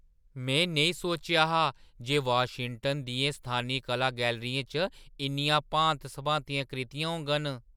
में नेईं सोचेआ हा जे वाशिंगटन दियें स्थानी कला गैलरियें च इन्नियां भांत-सभांतियां कृतियां होङन।